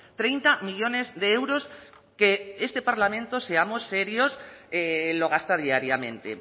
treinta millónes de euros que este parlamento seamos serios lo gasta diariamente